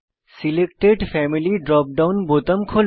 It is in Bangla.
সিলেক্টেড ফ্যামিলি ড্রপ ডাউন বোতাম খোলে